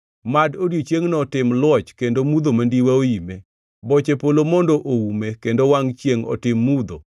Mad odiechiengno otim luoch kendo mudho mandiwa oime; boche polo mondo oume; kendo wangʼ chiengʼ otim mudho.